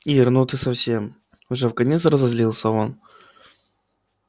ир ну ты совсем уже вконец разозлился он